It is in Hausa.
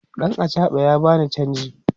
ɗan achaɓan ya bani chanji